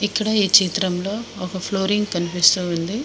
ఇక్కడ ఈ చిత్రంలో ఒక ఫ్లోరింగ్ కనిపిస్తూ ఉంది.